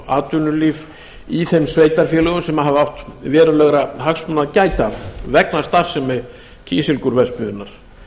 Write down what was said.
atvinnulíf í þeim sveitarfélögum sem hafa átt verulegra hagsmuna að gæta vegna starfsemi kísilgúrverksmiðjunnar